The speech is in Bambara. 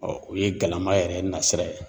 o ye galama yɛrɛ nasira ye.